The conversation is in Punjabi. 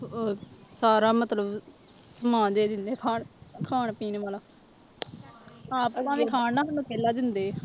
ਸਾਰਾ ਮਤਲਬ ਸਮਾਨ ਦੇ ਦਿੰਦੇ ਖਾਣ ਖਾਣ ਪੀਣ ਵਾਲਾ ਆਪ ਭਾਵੇਂ ਖਾਣ ਨਾ ਸਾਨੂੰ ਪਹਿਲਾਂ ਦਿੰਦੇ ਹੈ